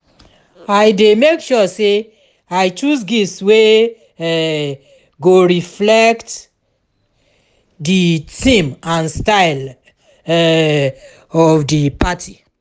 i dey make sure say i choose gifts wey um go reflect um di theme and style um of di party.